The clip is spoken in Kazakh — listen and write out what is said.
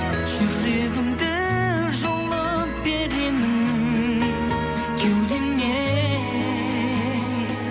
жүрегімді жұлып беремін кеудемнен